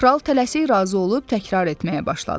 Kral tələsik razı olub təkrar etməyə başladı.